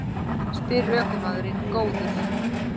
spyr ökumaðurinn Góður